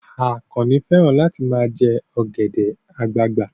Àkànnì fẹ́ràn láti ma jẹ́ ọ̀gẹ̀dẹ̀ àgbagbà